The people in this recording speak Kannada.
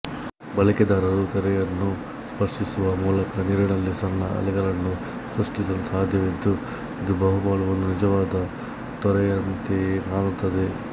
ಬಳಕೆದಾರರು ತೆರೆಯನ್ನು ಸ್ಪರ್ಶಿಸುವ ಮೂಲಕ ನೀರಿನಲ್ಲಿ ಸಣ್ಣ ಅಲೆಗಳನ್ನು ಸೃಷ್ಟಿಸಲು ಸಾಧ್ಯವಿದ್ದು ಇದು ಬಹುಪಾಲು ಒಂದು ನಿಜವಾದ ತೊರೆಯಂತೆಯೇ ಕಾಣುತ್ತದೆ